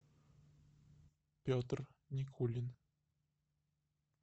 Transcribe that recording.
петр никулин